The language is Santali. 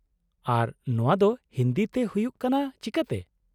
ᱟᱨ ᱱᱚᱶᱟ ᱫᱚ ᱦᱤᱱᱫᱤ ᱛᱮ ᱦᱩᱭᱩᱜ ᱠᱟᱱᱟ ᱪᱤᱠᱟᱹᱛᱮ ?